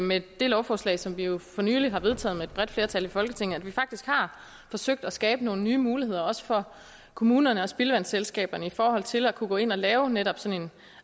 med det lovforslag som vi jo for nylig har vedtaget med et bredt flertal i folketinget faktisk har forsøgt at skabe nogle nye muligheder også for kommunerne og spildevandsselskaberne i forhold til at kunne gå ind og lave netop sådan